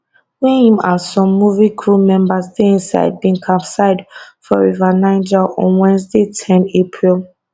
wey im and some movie crew members dey inside bin capsize for river niger on wednesday ten april